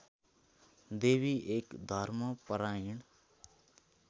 देवी एक धर्मपरायण